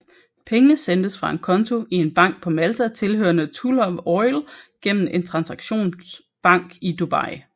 Pengene sendtes fra en konto i en bank på Malta tilhørende Tullow Oil gennem en transaktionsbank i Dubai